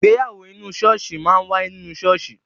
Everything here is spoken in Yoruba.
Ìgbéyàwó inú ṣọ́ọ̀ṣì máa wáyé nínú ṣọ́ọ̀ṣì.